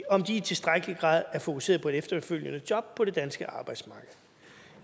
om de i tilstrækkelig grad er fokuseret på et efterfølgende job på det danske arbejdsmarked